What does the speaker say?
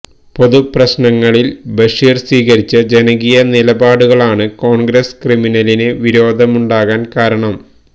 പൊതുപ്രശ്നങ്ങളില് ബഷീര് സ്വീകരിച്ച ജനകീയ നിലപാടുകളാണ് കോണ്ഗ്രസ്സ് ക്രിമിനലിന് വിരോധമുണ്ടാകാന് കാരണം